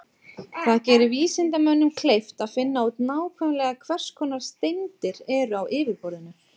Það gerir vísindamönnum kleift að finna út nákvæmlega hvers konar steindir eru á yfirborðinu.